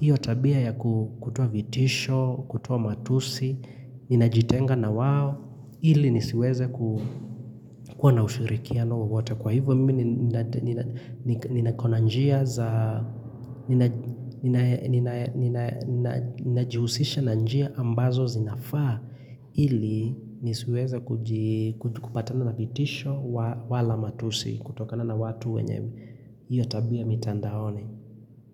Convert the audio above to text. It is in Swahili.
hiyo tabia ya kutoa vitisho, kutoa matusi, ninajitenga na wao, ili nisiweze kuwa na ushirikiano wowote. Kwa hivyo mimi ninajihusisha na njia ambazo zinafaa ili nisiweze kupatana na vitisho wala matusi kutokana na watu wenye iotabia mitandaoni.